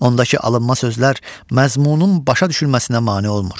Ondakı alınma sözlər məzmunun başa düşülməsinə mane olmur.